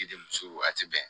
Denmuso a ti bɛn